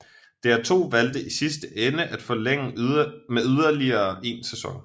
DR2 valgte i sidste ende at forlænge med yderligere en sæson